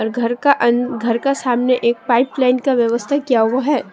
घर का अन घर का सामने एक पाइप लाइन का व्यवस्था किया हुआ है।